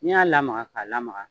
N y'a lamaka ka lamaka